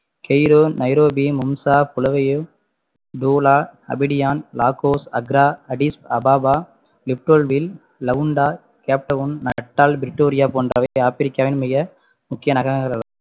Cairo, Nairobi, மும்சா, Bulawayo, Douala, Abidjan, Lagos, Accra, Addis Ababa Leopoldville, Luanda, cape town, Natal Pretoria போன்றவை ஆப்பிரிக்காவின் மிக முக்கிய நகரங்களா~